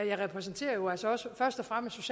jeg repræsenterer jo altså også først og fremmest